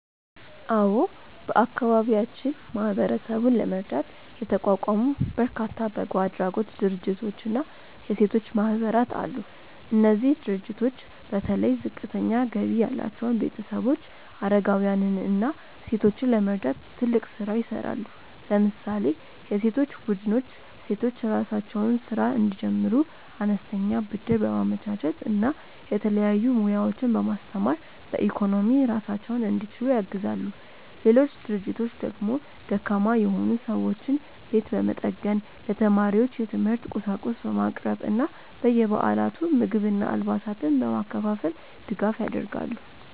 አዎ፣ በአካባቢያችን ማህበረሰቡን ለመርዳት የተቋቋሙ በርካታ በጎ አድራጎት ድርጅቶችና የሴቶች ማህበራት አሉ። እነዚህ ድርጅቶች በተለይ ዝቅተኛ ገቢ ያላቸውን ቤተሰቦች፣ አረጋውያንን እና ሴቶችን ለመርዳት ትልቅ ስራ ይሰራሉ። ለምሳሌ የሴቶች ቡድኖች ሴቶች የራሳቸውን ስራ እንዲጀምሩ አነስተኛ ብድር በማመቻቸት እና የተለያዩ ሙያዎችን በማስተማር በኢኮኖሚ ራሳቸውን እንዲችሉ ያግዛሉ። ሌሎች ድርጅቶች ደግሞ ደካማ የሆኑ ሰዎችን ቤት በመጠገን፣ ለተማሪዎች የትምህርት ቁሳቁስ በማቅረብ እና በየበዓላቱ ምግብና አልባሳትን በማከፋፈል ድጋፍ ያደርጋሉ።